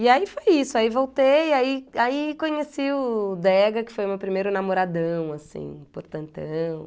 E... E aí foi isso, aí voltei, aí aí conheci o Dega, que foi o meu primeiro namoradão, assim, portantão.